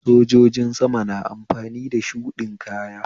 Sojojin sama na amfani da shuɗin kaya